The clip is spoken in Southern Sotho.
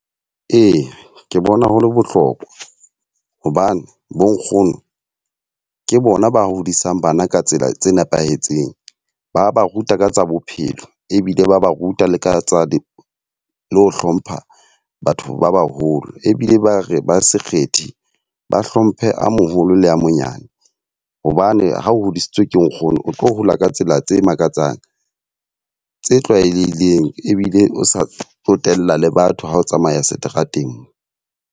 Eya, ke bona ho le bohlokwa. Hobane bo nkgono ke bona ba hodisang bana ka tsela tse nepahetseng. Ba ba ruta ka tsa bophelo, ebile ba ba ruta ka tsa le ho hlompha batho ba baholo. Ebile ba re ba sekgetho, re ba hlomphe a moholo le a monyane. Hobane ha o hodisitswe ke nkgono, o tlo hola ka tsela tse makatsang tse tlwaelehileng. Ebile o sa tsotella le batho ha o tsamaya seterateng mo.